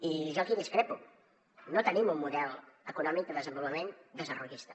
i jo aquí discrepo no tenim un model econòmic de desenvolupament desarrollista